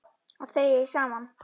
Að þau eigi saman.